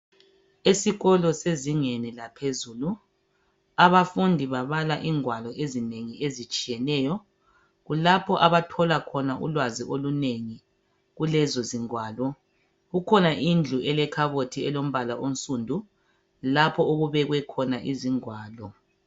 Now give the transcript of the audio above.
Esikolo sezingeni laphezulu, abafundi babala ingwalo ezinengi ezitshiyeneyo .Kulapho abathola khona ulwazi olunengi kulezo zingwalo. Kukhona indlu elekhabothi elombala onsundu, lapho okubekwe khona izingwalo.